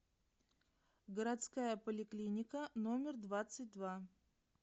городская поликлиника номер двадцать два